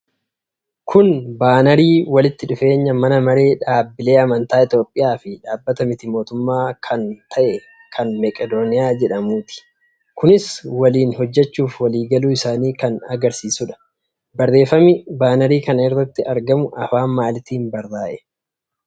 Kun baanarii walitti dhufeenya Mana Maree Dhaabblilee Amantaa Itoophiyaa fi Dhaabbata miti mootummaa kan ta'e kan Meqedooniyaa jedhamuuti. Kunis waliin hojjachuuf walii galuu isaanii kan agarsiisudha. Barreefami baanarii kana irratti argamu afaan maalitiin barraa'e?